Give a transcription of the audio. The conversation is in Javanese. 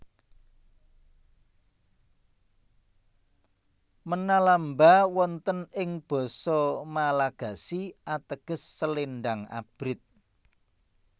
Menalamba wonten ing basa Malagasi ateges selendang abrit